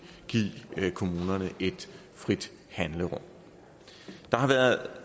give kommunerne et frit handlerum der har været